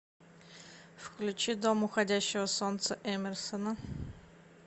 включи дом уходящего солнца эмерсона